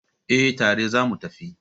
Eh, tare zamu tafi